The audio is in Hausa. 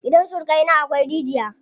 Gidan surukai na akwai rigiya.